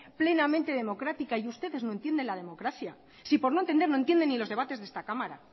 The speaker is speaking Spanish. plenamente democrática y ustedes no entienden la democracia si por no entender no entienden ni los debates de esta cámara